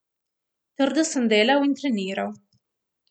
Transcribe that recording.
Trdo sem delal in treniral.